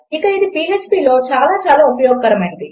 ఇక అది phpలో చాలా చాలా ఉపయోగకరమైనది